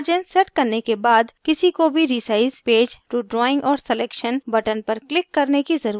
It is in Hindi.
margins सेट करने के बाद किसी को भी resize page to drawing or selection button पर click करने की ज़रुरत है